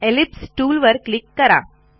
ellipse टूलवर click करा